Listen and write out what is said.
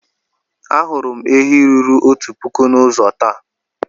Ahụrụ m ehi ruru otu puku n'ụzọ taa.